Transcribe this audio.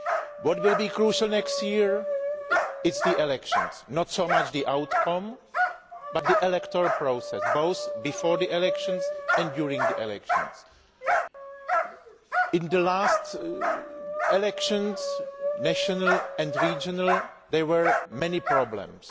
What will be crucial next year are the elections not so much the outcome, but the electoral process itself, both before the elections and during the elections. In the last elections national and regional there were many problems.